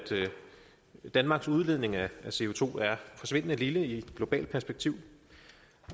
danmarks udledning er forsvindende lille i globalt perspektiv